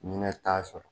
Ɲinɛ t'a sɔrɔ